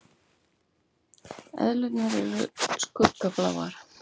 Eðlurnar eru skuggabláar.